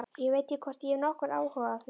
Ég veit ekki hvort ég hef nokkurn áhuga á því.